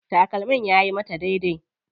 Takalmin yayi mata daidai.